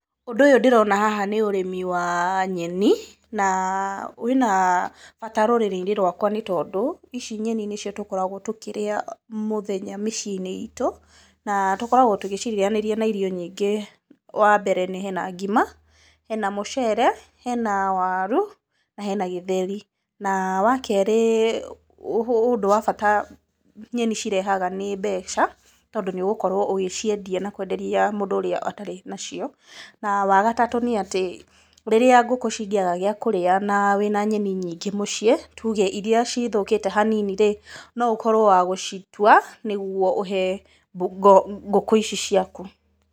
Ũndũ ũyũ ndĩrona haha nĩ ũrĩmi wa nyeni na wĩna bata rũrĩrĩ-inĩ rwkwa nĩ tondũ, ici nyeni nĩ cio tũkoragwo tũkĩrĩa mũthenya mĩciĩ-inĩ itũ, na tũkoragwo tũgĩcirĩanĩria na irio nyingĩ wa mbere nĩ hena ngima, hena mũcere, hena waru na hena gĩteri. Na wa kerĩ ũndũ wa bata nyeni cirehaga nĩ mbeca, tondu nĩ ũgũkorwo ũgĩciendia na kũenderia mũndũ ũrĩa atarĩ na cio. Na wa gatatũ, nĩ atĩ rĩrĩa ngũkũ cingĩaga gĩa kũrĩa na wĩna nyeni nyingĩ mũciĩ, tuge iria cithũkĩte hanini rĩ no ũtuĩke wa gũcitua nĩ guo ũhe ngũkũ ici ciaku.